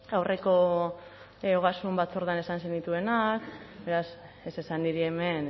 aurreko ogasun batzordean esan zenituenak beraz ez esan niri hemen